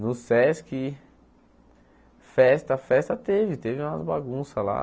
No Sesc, festa, festa teve, teve umas bagunças lá.